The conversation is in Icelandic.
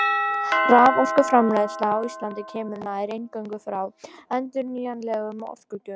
Raforkuframleiðsla á Íslandi kemur nær eingöngu frá endurnýjanlegum orkugjöfum.